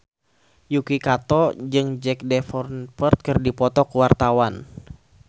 Yuki Kato jeung Jack Davenport keur dipoto ku wartawan